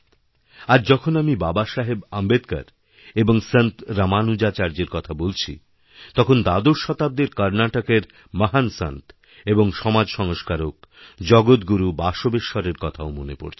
আজ যখন আমি বাবাসাহেব আম্বেদকর এবংসন্ত রামানুজাচার্যের কথা বলছি তখন দ্বাদশ শতাব্দীর কর্ণাটকের মহান সন্ত এবংসমাজসংস্কারক জগতগুরু বাসবেশ্বরের কথাও মনে পড়ছে